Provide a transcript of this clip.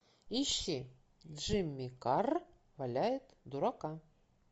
ищи джимми карр валяет дурака